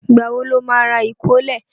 Ìgbà wo lo má rà ìkólẹ̀?